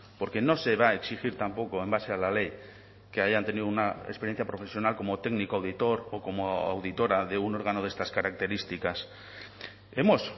porque no se va a exigir tampoco en base a la ley que hayan tenido una experiencia profesional como técnico auditor o como auditora de un órgano de estas características hemos